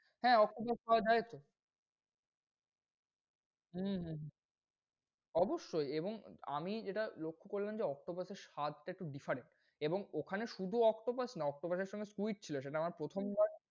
হ্যাঁ, octopus পাওয়া যায় তো। হম হুহু, অবশ্যই এবং আমি যেটা লক্ষ্য করলাম যে, octopus এর স্বাদ টা একটু different এবং ওখানে শুধু octopus না octopus এর সঙ্গে squid ছিল। সেটা আমার প্রথমবার,